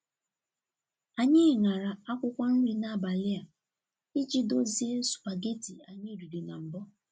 Anyị ṅara akwụkwọ nri n'abalị a iji dozie supageti anyị riri na mbụ.